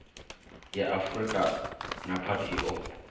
ya afurika nepad i o